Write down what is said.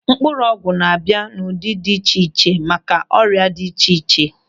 Mkpụrụ ọgwụ na-abịa n'ụdị dị iche iche maka ọrịa dị iche iche.